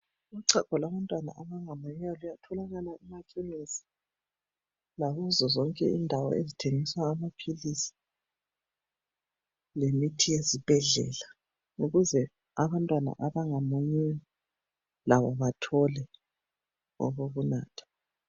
Uchago lwabantwana abangamunyiyo luyatholaka emakhemisi lakuzo zonke endawo ezithengisa amaphilisi lemithi yezibhedlela ukuze abantwana abangamunyiyo labo bathole okokunatha.